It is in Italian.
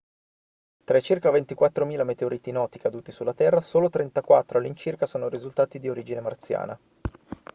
tra i circa 24.000 meteoriti noti caduti sulla terra solo 34 all'incirca sono risultati di origine marziana